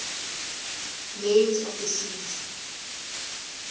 names of the seas